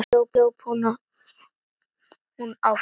Svo hljóp hún áfram.